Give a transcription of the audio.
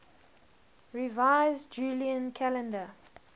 revised julian calendar